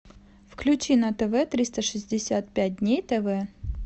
включи на тв триста шестьдесят пять дней тв